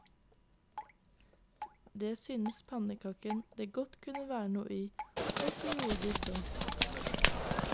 Det syntes pannekaken det kunne være noe i, og så gjorde de så.